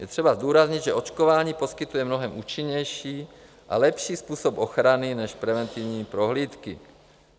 Je třeba zdůraznit, že očkování poskytuje mnohem účinnější a lepší způsob ochrany než preventivní prohlídky.